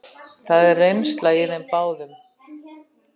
Það er reynsla í þeim báðum.